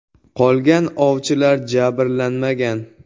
Qolgan ovchilar jabrlanmagan.